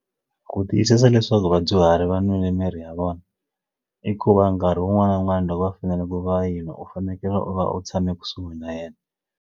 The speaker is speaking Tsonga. Ku tiyisisa leswaku vadyuhari va nwile miri ya vona i ku va nkarhi wun'wana na wun'wana loko va fanele ku va yinwa u fanekele u va u tshame kusuhi na yena.